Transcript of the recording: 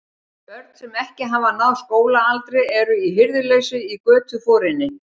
Börn, sem ekki hafa náð skólaaldri, eru í hirðuleysi í götuforinni.